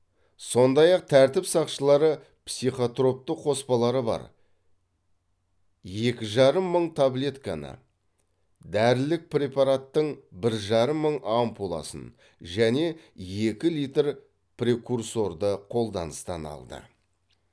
сондай ақ тәртіп сақшылары психотропты қоспалары бар екі жарым мың таблетканы дәрілік препаратың бір жарым мың ампуласын және екі литр прекурсорды қолданыстан алды